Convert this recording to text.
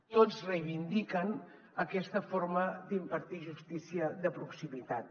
tots reivindiquen aquesta forma d’impartir justícia de proximitat